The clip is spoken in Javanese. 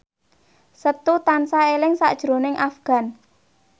Setu tansah eling sakjroning Afgan